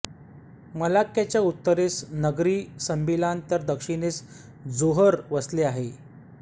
मलाक्क्याच्या उत्तरेस Negeri Sembilan तर दक्षिणेस जोहोर वसले आहे